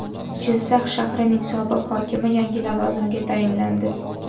Jizzax shahrining sobiq hokimi yangi lavozimga tayinlandi.